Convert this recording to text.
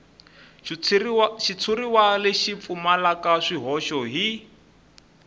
xitshuriwa lexi pfumalaka swihoxo hi